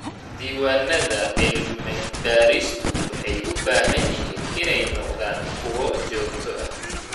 Diiwaanada cilmi-baaristu waxay u baahan yihiin inay noqdaan kuwo joogto ah.